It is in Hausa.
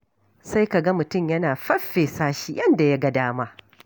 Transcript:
Sai ka ga mutum yana feffesa shi yadda ya ga dama.